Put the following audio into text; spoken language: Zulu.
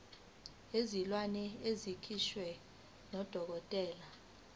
wezilwane esikhishwa ngudokotela